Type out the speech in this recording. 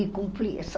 E cumpri isso.